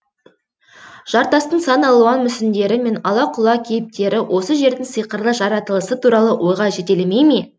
жартастың сан алуан мүсіндері мен ала құла кейіптері осы жердің сиқырлы жаратылысы туралы ойға жетелемей ме